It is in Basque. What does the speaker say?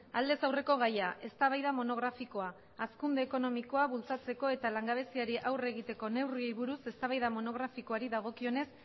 aldez aurreko gaia eztabaida monografikoa hazkunde ekonomikoa bultzatzeko eta langabeziari aurre egiteko neurriei buruz eztabaida monografikoari dagokionez